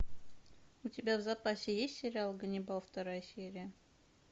у тебя в запасе есть сериал ганнибал вторая серия